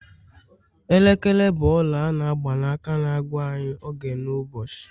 elekere bụ ọla a n'agba na- aka na-agwa anyị oge n'ụbọchị